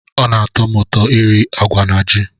Ọ na-atọ m ụtọ iri agwa na ji.